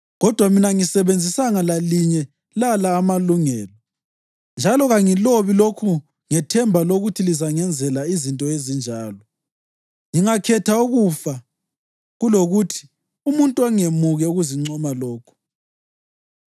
Kodwa mina angisebenzisanga lalinye lala amalungelo. Njalo kangilobi lokhu ngethemba lokuthi lizangenzela izinto ezinjalo. Ngingakhetha ukufa kulokuthi umuntu angemuke ukuzincoma lokhu.